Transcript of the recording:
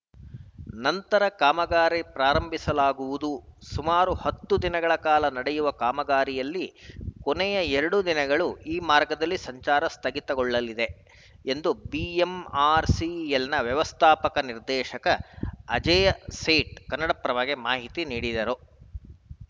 ನಂತರ ಕಾಮಗಾರಿ ಪ್ರಾರಂಭಿಸಲಾಗುವುದು ಸುಮಾರು ಹತ್ತು ದಿನಗಳ ಕಾಲ ನಡೆಯುವ ಕಾಮಗಾರಿಯಲ್ಲಿ ಕೊನೆಯ ಎರಡು ದಿನಗಳು ಈ ಮಾರ್ಗದಲ್ಲಿ ಸಂಚಾರ ಸ್ಥಗಿತಗೊಳ್ಳಲಿದೆ ಎಂದು ಬಿಎಂಆರ್‌ಸಿಎಲ್‌ನ ವ್ಯವಸ್ಥಾಪಕ ನಿರ್ದೇಶಕ ಅಜಯ್‌ ಸೇಠ್‌ ಕನ್ನಡಪ್ರಭಕ್ಕೆ ಮಾಹಿತಿ ನೀಡಿದರು